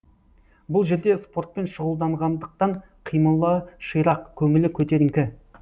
бұл жерде спортпен шұғылданғандықтан қимылы ширақ көңілі көтеріңкі